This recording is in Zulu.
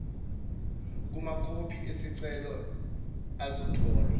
kumakhophi esicelo azotholwa